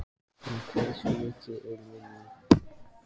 En hversu mikill er munurinn?